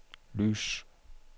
lys